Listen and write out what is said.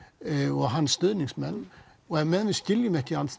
og hans stuðningsmenn á meðan við skiljum ekki